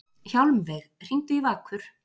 Hjálmveig, hringdu í Vakur.